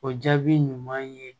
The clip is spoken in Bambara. O jaabi ɲuman ye